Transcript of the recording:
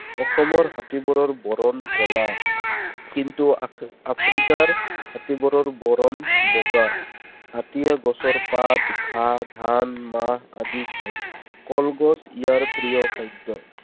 অসমৰ হাতীবোৰৰ বৰণ কলা। কিন্তু আফ্~ আফ্ৰিকাৰ হাতীবোৰৰ বৰণ বগা। হাতীয়ে গছৰ পাত, ঘাঁহ, ধান, মাহ আদি খায়। কলগছ ইয়াৰ প্ৰিয় খাদ্য।